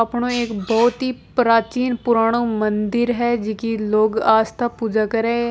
अपणो एक बहुत ही प्राचीन पुराणों मंदिर है जिकी लोग आस्था पूजा करे है।